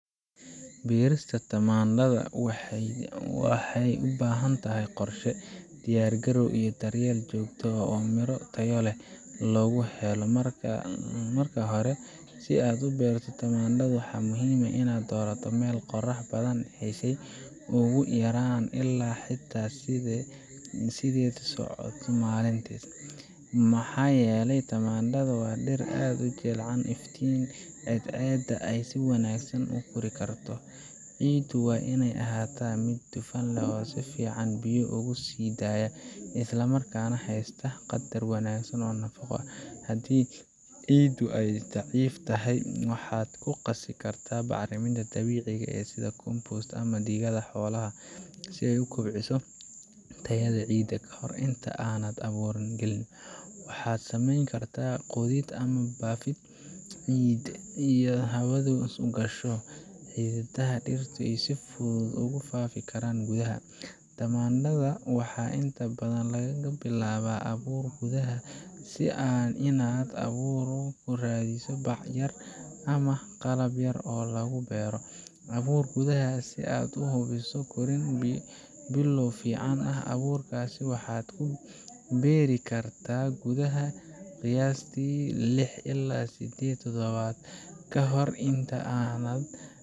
Beerista tamaandhada waxay u baahan tahay qorshe, diyaar-garow, iyo daryeel joogto ah si miro tayo leh loogu helo. Marka hore, si aad u beerto tamaandho, waxaa muhiim ah in aad doorato meel qorax badan heshay ugu yaraan lix ilaa sideed saacadood maalintii, maxaa yeelay tamaandhada waa dhir aad u jecel iftiinka cadceedda si ay si wanaagsan u kori karto. Ciiddu waa inay ahaataa mid dufan leh oo si fiican biyo ugu sii daaya, isla markaana haysata qaddar wanaagsan oo nafaqo ah. Haddii ciiddaadu ay daciif tahay, waxaad ku qasi kartaa bacriminta dabiiciga ah sida compost ama digada xoolaha si ay u kobciso tayada ciidda. Ka hor inta aanad abuurka gelin, waxaad sameyn kartaa qodid ama baafid ciidda si ay hawadu u gasho, oo xididdada dhirtu si fudud ugu faafi karaan gudaha. Tamaandhada waxaa inta badan lagu bilaabaa abuur gudaha ah, sida inaad abuurka ku ridayso bac yar ama qalab yar oo lagu beero abuur gudaha ah, si aad u hubiso korriin bilow fiican ah. Abuurkaas waxaad ku beeri kartaa gudaha qiyaastii lix ilaa siddeed toddobaad ka hor inta aanad